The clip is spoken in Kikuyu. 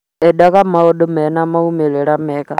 Endaga maũndũ mena moimĩrĩra mega